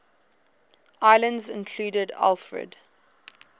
islands included alfred